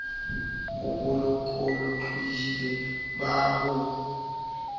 o bolokolohing ba ho ho